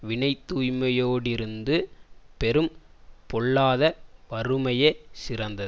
வினைத்தூய்மையோடிருந்து பெறும் பொல்லாத வறுமையே சிறந்தது